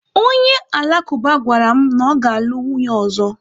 Onye Alakụba gwara m na ọ ga-alụ nwunye ọzọ.